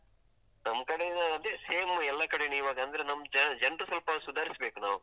ನಮ್ ಕಡೆ ಅದೇ same ಎಲ್ಲ ಕಡೆ ಈವಾಗ, ಅಂದ್ರೆ ನಮ್ ಜನ್ ಜನರು ಸ್ವಲ್ಪ ಸುಧಾರಿಸಬೇಕು ನಾವು.